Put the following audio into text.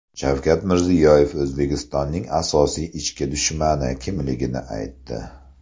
Shavkat Mirziyoyev O‘zbekistonning asosiy ichki dushmani kimligini aytdi .